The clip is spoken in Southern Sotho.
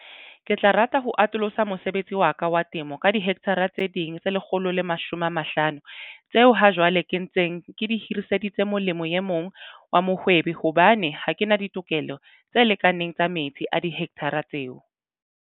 Ke tla rata ho atolosa mosebetsi wa ka wa temo ka dihekthara tse ding tse 150 tseo hajwale ke ntseng ke di hiriseditse molemi e mong wa mohwebi hobane ha ke na ditokelo tse lekaneng tsa metsi a dihekthara tseo.